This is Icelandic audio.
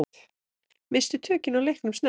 Misstu tökin á leiknum snemma.